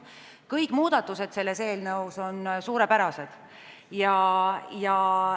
Kõik muudatused selles eelnõus on suurepärased.